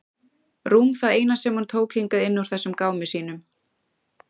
Rúm það eina sem hún tók hingað inn úr þessum gámi sínum.